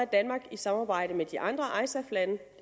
danmark i samarbejde med de andre isaf lande